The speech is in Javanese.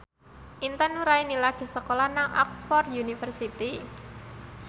Intan Nuraini lagi sekolah nang Oxford university